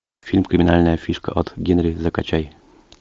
фильм криминальная фишка от генри закачай